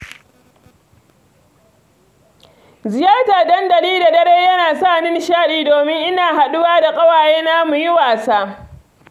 Ziyartar dandali da dare yana sa ni nishaɗi domin ina haɗuwa da ƙawayena mu yi wasa.